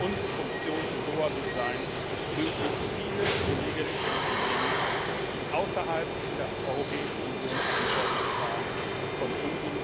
haben. Unsere Funktion in Doha wird es sein, möglichst viele Kolleginnen und Kollegen, die außerhalb der Europäischen Union Verantwortung tragen, von unseren